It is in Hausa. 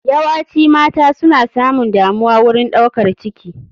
Yawaci mata suna samun damuwa wurin ɗaukar ciki.